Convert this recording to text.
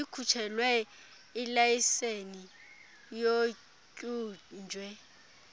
likhutshelwe ilayiseni otyunjwe